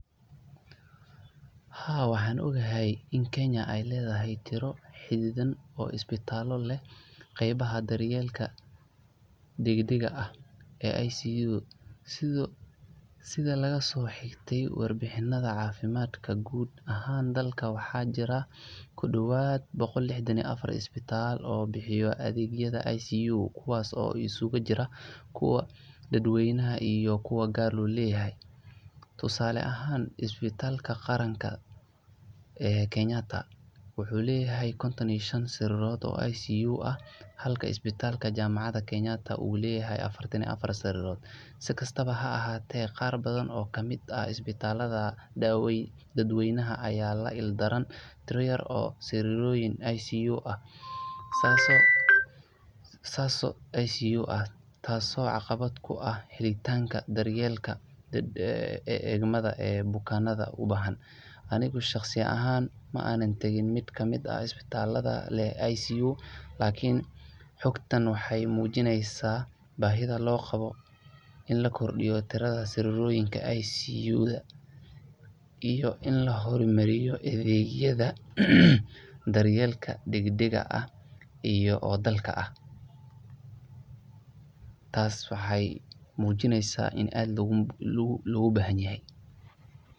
Haa waaxan ogahay in kenya ey leedayah tiro xidadhan oo isbitalda leeh qebaha daryelka dagdag ah ee ICU sidhaa laga so xiite war bixinada cafimadka guud ahaan dalka waaxa jira kudawaad boqol lixdan iyo afaar isbitala oo bixiyan adeegyadha ICU kuwas oo iskugu jiran kuwa daad weynaha iyo kuwa gaar lo leyahay tusale ahaan isbitaalka qaranka ee kenyaatta wuxu leeyahay kontoon iyo shaan sarirto oo ICU ah halka isbitaalka jamaacad kenyaatta uleyaha afaartaan iyo afaar sarirod si kasta haahatee qaar baadan oo isbitalha daad weynaha aya laiildaran tiiro yaar sariroyinka oo ICU taas oo caqabad kuaha heli taanka daryelka ee egmaada bukanada ubaxaan aniga shaqsi aahan maantaagin mid ka mid ah isbitalada leeh ICU lakini xoogtaan waaxey mujiineysa bahiida loqawo in la kordiiyo diraada sariroyinka ICU iyo in la xormariyo adeegyadha daryelka degdega ah iyo dalka ah taas waxey mujineysa in aad lagu baxayaha